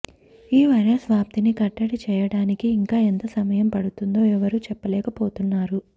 ఈ వైరస్ వ్యాప్తిని కట్టడి చేయడానికి ఇంకా ఎంత సమయం పడుతుందో ఎవరూ చెప్పలేకపోతున్నారు